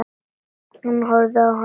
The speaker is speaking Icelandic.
Hann horfir á hana hvumsa.